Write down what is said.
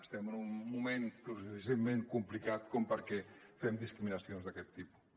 estem en un moment lo suficientment complicat com perquè fem discriminacions d’aquest tipus